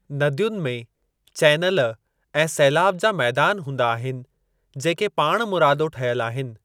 नदियुनि में चैनल ऐं सैलाब जा मैदान हूंदा आहिनि जेके पाणमुरादो ठहियल आहिनि।